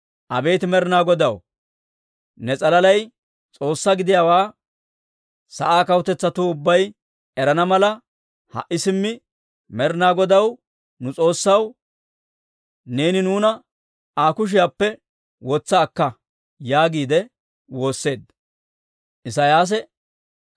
Abeet Med'ina Godaw, ne s'alalay S'oossaa gidiyaawaa sa'aa kawutetsatuu ubbay erana mala, ha"i simmi, Med'ina Godaw, nu S'oossaw, neeni nuuna Aa kushiyaappe wotsa akka!» yaagiide woosseedda.